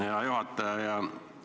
Hea juhataja!